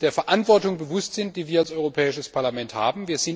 der Verantwortung bewusst sind, die wir als Europäisches Parlament haben.